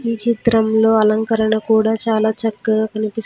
ఈ చిత్రంలో అలంకరణ కూడా చాలా చక్కగా కనిపిస్తు--